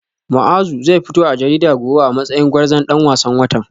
Muazu zai fito a jarida gobe a matsayin gwarzon dan wasan watan